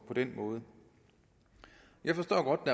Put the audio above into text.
den måde jeg forstår godt